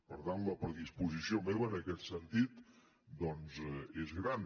per tant la predisposició meva en aquest sentit és gran